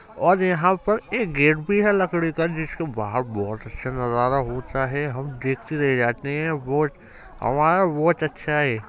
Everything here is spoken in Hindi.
और यहां पर एक गेट भी है लकड़ी का जिसके बाहर बहुत अच्छा नजारा होता है हम देखते रह जाते हैं बहुत हमारा बहुत अच्छा है।